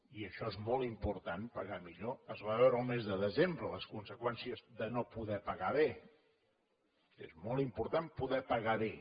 i això és molt important pagar millor es van veure el mes de desembre les conseqüències de no poder pagar bé és molt important poder pagar bé